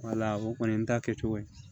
Wala o kɔni ta kɛcogo ye